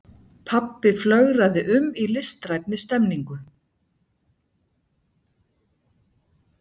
Pabbi flögraði um í listrænni stemmningu.